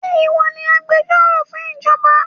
Ṣe ìwọ ni agbẹjọ́rò fún ìjọba?